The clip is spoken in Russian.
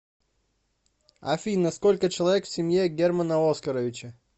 афина сколько человек в семье германа оскаровича